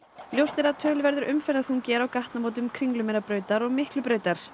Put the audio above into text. ljóst er að töluverður umferðarþungi er á gatnamótum Kringlumýrarbrautar og Miklubrautar